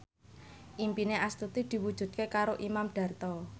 impine Astuti diwujudke karo Imam Darto